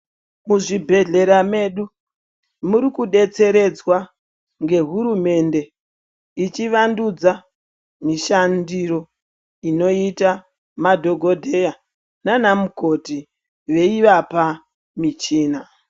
Muzvibhehlera mwedu murikudetseredzwa ngehurumende yechivandudza mishandiro inoite madhokodheya nanamukoti veivapa michina .